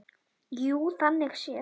Jú, þannig séð.